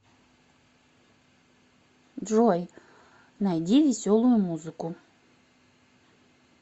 джой найди веселую музыку